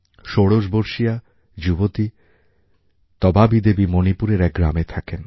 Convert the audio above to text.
ষোড়শ বর্ষীয়া যুবতী তবাবী দেবী মণিপুরের এক গ্রামে থাকেন